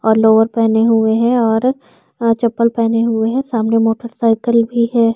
और लोवर पहने हुए है और अ चप्पल पहने हुए है सामने मोटर साइकिल लगी भी हैं ।